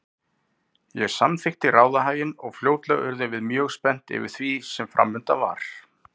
Ég samþykkti ráðahaginn og fljótlega urðum við mjög spennt yfir því sem framundan var.